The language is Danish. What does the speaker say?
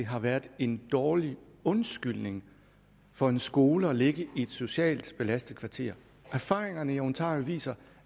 har været en dårlig undskyldning for en skole at ligge i et socialt belastet kvarter erfaringerne i ontario viser